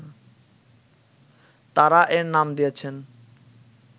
তারা এর নাম দিয়েছেন